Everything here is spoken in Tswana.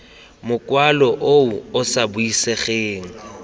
mokwalo o o sa buisegeng